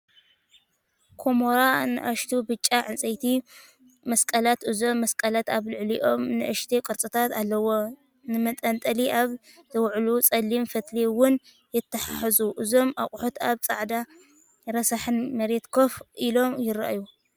ኵምራ ንኣሽቱ ብጫ ዕንጨይቲ መስቀላት። እዞም መስቀላት ኣብ ልዕሊኦም ንኣሽቱ ቅርጻታት ኣለዎም። ንመንጠልጠሊ ኣብ ዝውዕሉ ጸሊም ፈትሊ እውን ይተሓሓዙ። እዞም ኣቑሑት ኣብ ጻዕዳን ረሳሕን መሬት ኮፍ ኢሎም ይረኣዩ።